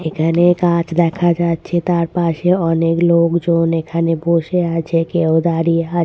এখানে গাছ দেখা যাচ্ছে তার পাশে অনেক লোকজন এখানে বসে আছে কেউ দাঁড়িয়ে আছ--